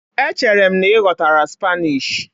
Echere m na ị ghọtara Spanish?